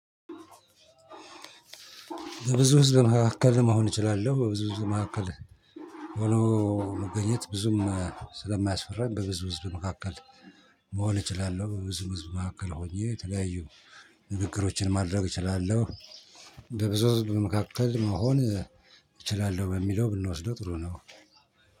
በብዙ ህዝብ መካከል መሆን እችላለሁ በብዙ መካከል ሆኖ መገኘት ብዙም ስለማያስፈራኝ በብዙ ህዝብ መካከል መሆን እችላለሁ። በብዙ ህዝብ መካከል ሆኜ ተለያዩ ንግግሮችን ማድረግ እችላለሁ። በብዙ ህዝብ መካከል መሆን እችላለሁ በሚለው ብንወስደው ጥሩ ነው።